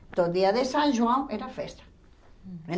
Então, dia de São João era festa.